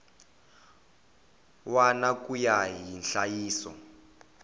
wana ku ya hi nhlayiso